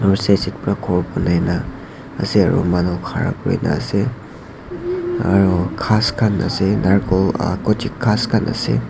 Aru side side pura khor banai na ase aro manu khara kurina ase aru ghas khan ase narcol ah ghas khanase.